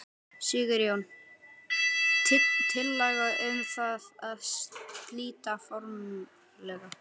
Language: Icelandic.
Sigurjón: Tillaga um það að slíta formlega?